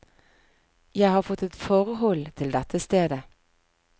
Jeg har fått et forhold til dette stedet.